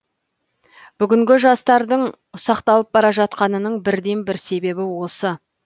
бүгінгі жастардық ұсақталып бара жатқанының бірден бір себебі осы